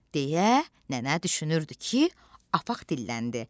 deyə nənə düşünürdü ki, apaq dilləndi.